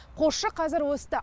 қосшы қазір өсті